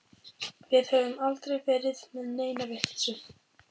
Við höfum aldrei verið með neina vitleysu.